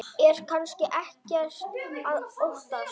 Er kannski ekkert að óttast?